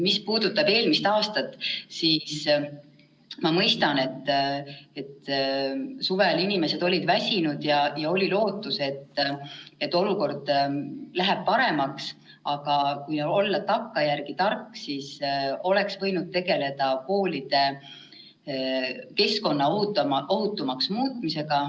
Mis puudutab eelmist aastat, siis ma mõistan, et suvel olid inimesed väsinud ja oli lootus, et olukord läheb paremaks, aga kui olla takkajärgi tark, siis oleks võinud tegeleda koolide keskkonna ohutumaks muutmisega.